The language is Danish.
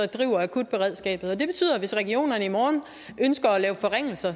driver akutberedskabet og det betyder at hvis regionerne i morgen ønsker at lave forringelser